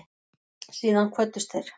Síðan kvöddust þeir.